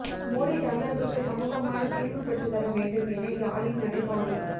மோடி தமிழர்களுக்கு சுமூகமான தீர்வு பெற்றுத்தர வேண்டும் என யாழில் நடைபவணி